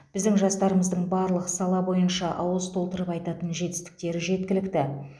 біздің жастарымыздың барлық сала бойынша ауыз толтырып айтатын жетістіктері жеткілікті